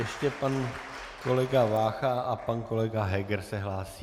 Ještě pan kolega Vácha a pan kolega Heger se hlásí.